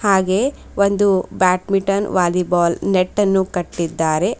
ಹಾಗೆ ಒಂದು badminton volleyball ನೆಟ್ಟನ್ನು ಕಟ್ಟಿದ್ದಾರೆ.